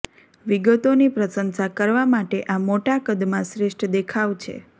વિગતોની પ્રશંસા કરવા માટે આ મોટા કદમાં શ્રેષ્ઠ દેખાવ છે